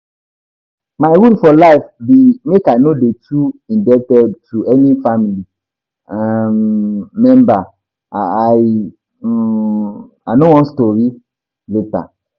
My rule for life be make I no dey too indebted to any family um member, I um no want stories later